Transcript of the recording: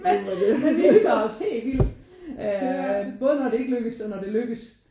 Men vi hygger os helt vildt øh både når det ikke lykkedes og når det lykkedes